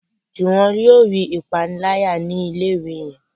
Juwon yóò rí ìpaniláyà ni ilé ìwé yén.